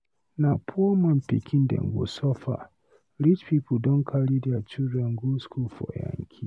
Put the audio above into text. Na poor man pikin dem go suffer, rich pipu don carry their children go school for yankee.